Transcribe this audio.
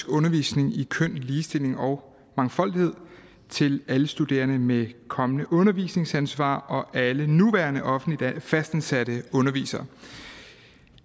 undervisning i køn ligestilling og mangfoldighed til alle studerende med kommende undervisningsansvar og alle nuværende fastansatte undervisere